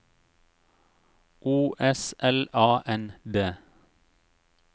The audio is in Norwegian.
O S L A N D